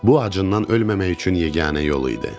Bu acından ölməmək üçün yeganə yolu idi.